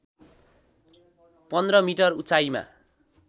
१५ metre उचाइमा